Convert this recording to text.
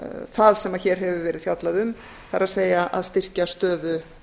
það sem hér hefur verið fjallað um það er að styrkja stöðu